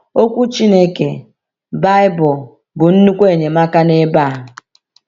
Okwu Chineke, Baịbụl, bụ nnukwu enyemaka n’ebe a.